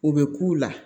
U bɛ k'u la